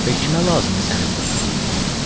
Və kimə lazımdır sənin bu susuzluğun?